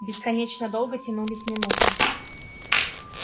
бесконечно долго тянулись минуты